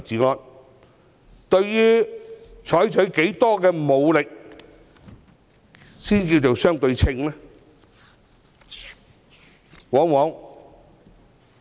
究竟採取多大武力才算相對稱？